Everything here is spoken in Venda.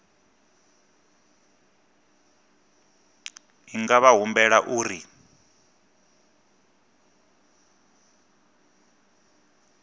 i nga vha humbela uri